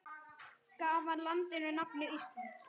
Gaf hann landinu nafnið Ísland.